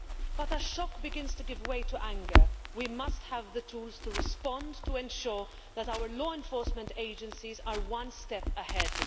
But as shock begins to give way to anger, we must have the tools to respond to ensure that our law enforcement agencies are one step ahead.